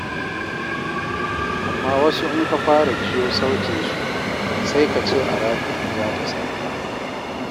Amma wasu in ka fara jiyo sautinsu, sai ka ce aradu za ta sauka.